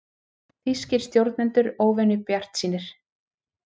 Þýskir stjórnendur óvenju bjartsýnir